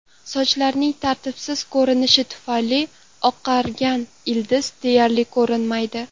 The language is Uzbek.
Sochlarning tartibsiz ko‘rinishi tufayli oqargan ildiz deyarli ko‘rinmaydi.